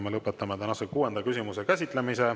Ma lõpetan tänase kuuenda küsimuse käsitlemise.